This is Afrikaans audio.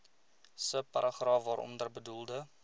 subparagraaf waaronder bedoelde